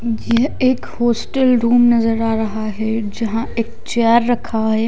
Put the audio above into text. यह एक hostel room नजर आ रहा है जहां एक चेयर रखा है।